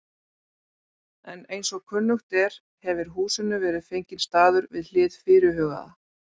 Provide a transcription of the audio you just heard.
En eins og kunnugt er, hefir húsinu verið fenginn staður við hið fyrirhugaða